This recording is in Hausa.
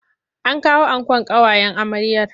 An kawo ankon ƙawayen amryar.